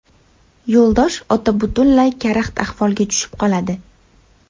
Yo‘ldosh ota butunlay karaxt ahvolga tushib qoladi.